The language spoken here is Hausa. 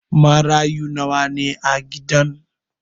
Marayu nawa ne a gidan?